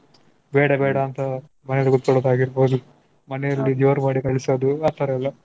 ಬೇಡ ಬೇಡ ಅಂತ ಮನೆಲಿ ಕೂತ್ಕೊಳಾಗಿರ್ಬೋದು. ಮನೆಯಲ್ಲಿ ಜೋರ್ ಮಾಡಿ ಕಳಿಸೋದು ಆತರ ಎಲ್ಲಾ.